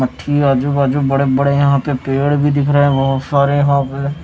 आजू बाजू बड़े बड़े यहां पेड़ भी दिख रहे हैं बहोत सारे यहां पे--